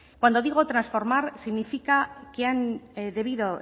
cuando digo transformar significa que han debido